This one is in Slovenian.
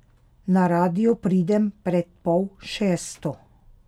Na radio pridem pred pol šesto.